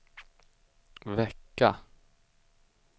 vecka